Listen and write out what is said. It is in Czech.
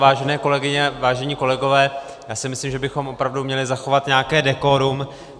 Vážené kolegyně, vážení kolegové, já si myslím, že bychom opravdu měli zachovat nějaké dekorum.